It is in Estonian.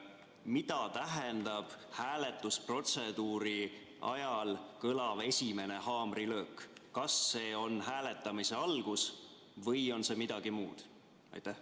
Mida tähendab hääletusprotseduuri ajal kõlav esimene haamrilöök: kas see on hääletamise algus või on see midagi muud?